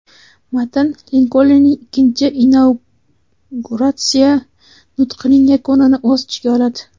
Matn Linkolnning ikkinchi inauguratsiya nutqining yakunini o‘z ichiga oladi.